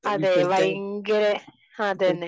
അതെ ഭയങ്കര, അതന്നെ